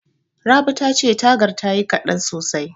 Rabi tace tagar tayi kaɗan sosai.